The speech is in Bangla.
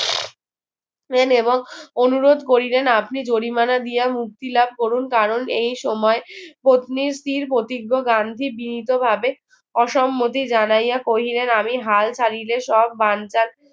এবং অনুরোধ করিলেন আপনি জরিমানা দিয়ে মুক্তি লাভ করুন কারণ এই সময় পত্নীর স্থির প্রতিজ্ঞ গান্ধী বিনীতভাবে অসম্মতি জানাইয়া কহিলেন আমি হাল ছাড়িলে সব বানচাল